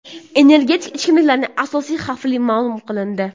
Energetik ichimliklarning asosiy xavfi ma’lum qilindi.